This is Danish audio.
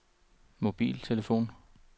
mobiltelefon